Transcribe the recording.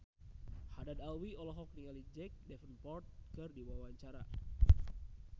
Haddad Alwi olohok ningali Jack Davenport keur diwawancara